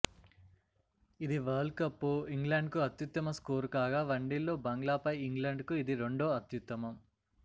ఇది వరల్డ్కప్లో ఇంగ్లండ్కు అత్యుత్తమ స్కోరు కాగా వన్డేల్లో బంగ్లాపై ఇంగ్లండ్కు ఇది రెండో అత్యుత్తమం